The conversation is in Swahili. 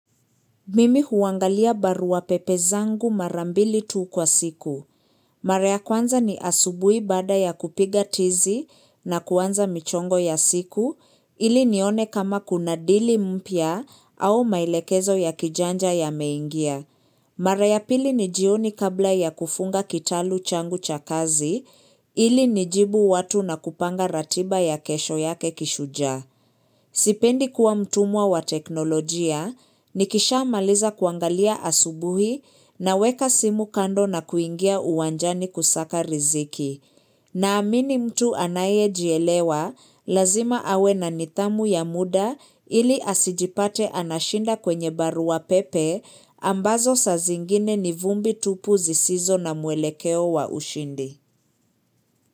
Mimi huangalia barua pepe zangu mara mbili tu kwa siku. Mara ya kwanza ni asubuhi baada ya kupiga tizi na kuanza michongo ya siku ili nione kama kuna dili mpia au maelekezo ya kijanja yameingia. Mara ya pili ni jioni kabla ya kufunga kitalu changu cha kazi ili nijibu watu na kupanga ratiba ya kesho yake kishuja. Sipendi kuwa mtumwa wa teknolojia, nikisha maliza kuangalia asubuhi naweka simu kando na kuingia uwanjani kusaka riziki. Naamini mtu anayejielewa, lazima awe na nithamu ya muda ili asijipate anashinda kwenye barua pepe ambazo saa zingine ni vumbi tupu zisizo na mwelekeo wa ushindi.